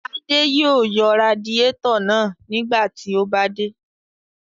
Adé yóò yọ radiátọ̀ náà nígbà tí ó bá dé.